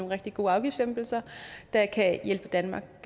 rigtig gode afgiftslempelser der kan hjælpe danmark